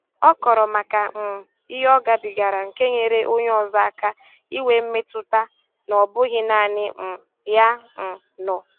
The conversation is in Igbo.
Ọ kọọrọ maka um ihe ọ gabigara nke nyere onye ọzọ aka inwe metụta na ọ bụghị naanị um ya um nọ